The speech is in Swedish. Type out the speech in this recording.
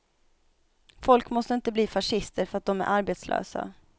Folk måste inte bli fascister för att dom är arbetslösa.